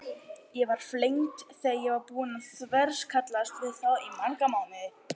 Ég var flengd þegar ég var búin að þverskallast við því í marga mánuði.